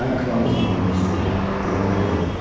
Mən krallıq möhürünü istəyirəm, deyə fəryad etdi.